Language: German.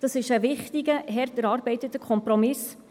dies ist ein wichtiger, hart erarbeiteter Kompromiss.